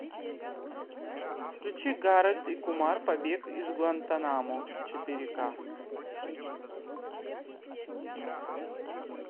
включи гарольд и кумар побег из гуантанамо четыре ка